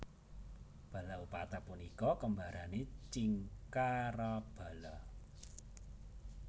Balaupata punika kembarane Cingkarabala